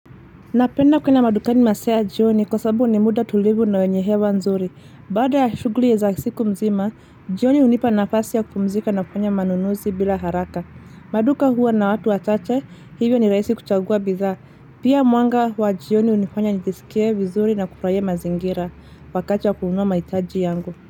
Napenda kuenda madukani masaa ya jioni kwa sababu ni muda tulivu na wenye hewa nzuri. Baada ya shugli ya za siku mzima, jioni hunipa nafasi ya kupumzika na kufanya manunuzi bila haraka. Maduka huwa na watu wachache, hivyo ni rahisi kuchagua bidha. Pia mwanga wa jioni unifanya nijisikie vizuri na kufuraia mazingira, wakati wa kununua maitaji yangu.